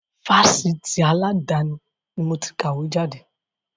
Fásitì aladani ni moti kàwé jáde.